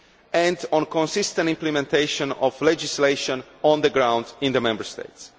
and on consistent implementation of legislation on the ground in the Member States.